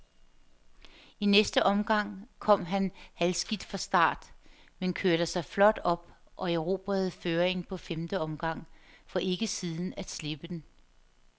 I næste omgang kom han halvskidt fra start, men kørte sig flot op og erobrede føringen på femte omgang, for ikke siden at slippe den.